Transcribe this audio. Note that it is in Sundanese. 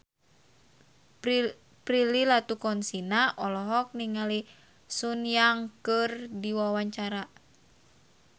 Prilly Latuconsina olohok ningali Sun Yang keur diwawancara